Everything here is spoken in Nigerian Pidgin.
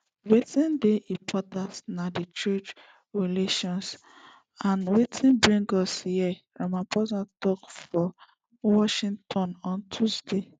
wetin dey important na di trade relations na wetin bring us here ramaphosa tok for washington on tuesday